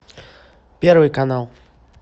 первый канал